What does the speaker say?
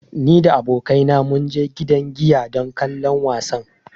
Ni da abokaina mun je gidan giya don kallon wasan.